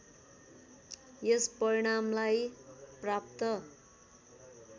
यस परिणामलाई प्राप्त